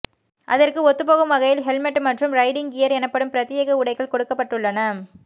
அதற்கு ஒத்துப்போகும் வகையில் ஹெல்மெட் மற்றும் ரைடிங் கியர் எனப்படும் பிரத்யேக உடைகள் கொடுக்கப்பட்டுள்ளன